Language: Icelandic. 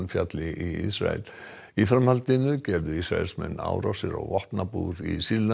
fjalli í Ísrael í framhaldinu gerðu Ísraelsmenn árásir á vopnabúr í Sýrlandi